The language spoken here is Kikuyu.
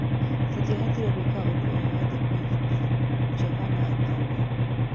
"Tũtiahotire gwika ũndũ o-wothe kũĩgita," Jovana akauga.